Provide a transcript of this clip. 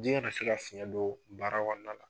Ji ka na se ka fiɲɛ don baara kɔnɔna la.